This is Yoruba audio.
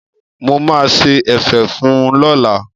Mo máa ṣe ẹ̀fẹ̀ fún un lọ́la.